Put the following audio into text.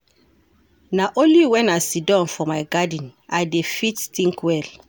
Na only wen I siddon for my garden I dey fit tink well.